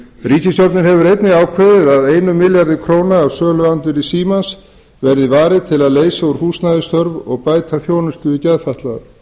ríkisstjórnin hefur einnig ákveðið að einum milljarði króna af söluandvirði símans verði varið til þess að leysa úr húsnæðisþörf og bæta þjónustu við geðfatlaða